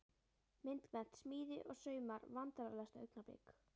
Myndmennt, smíði og saumar Vandræðalegasta augnablik?